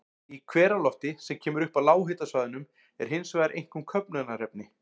Í hveralofti, sem kemur upp á lághitasvæðunum, er hins vegar einkum köfnunarefni.